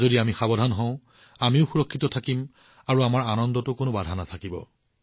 যদি আমি সাৱধান হওঁ তেন্তে আমিও সুৰক্ষিত থাকিম আৰু আমাৰ উপভোগত কোনো বাধা নাথাকিব